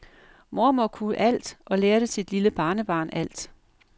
Mormor kunne alt og lærte sit lille barnebarn alt.